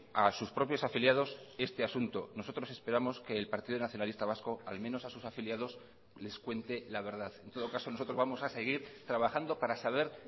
a sus propios afiliados este asunto nosotros esperamos que el partido nacionalista vasco al menos a sus afiliados les cuente la verdad en todo caso nosotros vamos a seguir trabajando para saber